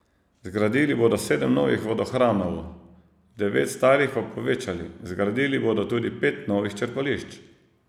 Zgradili bodo sedem novih vodohranov, devet starih pa povečali, zgradili bodo tudi pet novih črpališč.